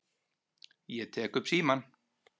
Ég tek upp símann.